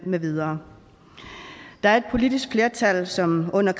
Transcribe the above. med videre der er et politisk flertal som under